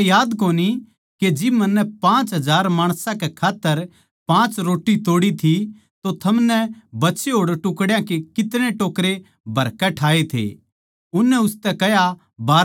के जिब मन्नै पाँच हजार माणसां कै खात्तर पाँच रोट्टी तोड़ी थी तो थमनै बचे होड़ टुकड्या के कितने टोकरे भरकै उननै उसतै कह्या बारहा टोकरे